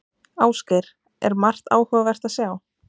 Ásgeir, er margt áhugavert að sjá?